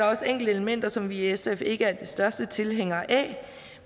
også enkelte elementer som vi i sf ikke er de største tilhængere af